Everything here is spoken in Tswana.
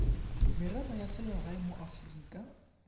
merero ya selegae mo aforika